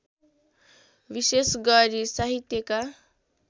विशेष गरी साहित्यका